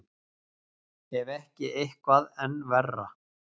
Ef ekki eitthvað enn verra.